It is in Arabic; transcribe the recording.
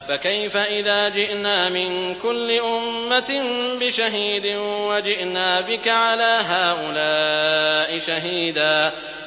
فَكَيْفَ إِذَا جِئْنَا مِن كُلِّ أُمَّةٍ بِشَهِيدٍ وَجِئْنَا بِكَ عَلَىٰ هَٰؤُلَاءِ شَهِيدًا